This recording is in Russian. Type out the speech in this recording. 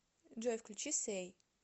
джой включи сэй